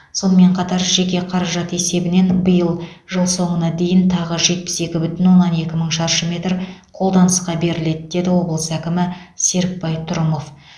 сонымен қатар жеке қаражат есебінен биыл жыл соңына дейін тағы жетпіс екі бүтін оннан екі мың шаршы метр қолданысқа беріледі деді облыс әкімі серікбай трұмов